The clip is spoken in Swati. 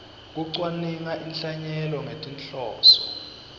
kucwaninga inhlanyelo ngetinhloso